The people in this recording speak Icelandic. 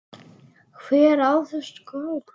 Hver á þessa skál?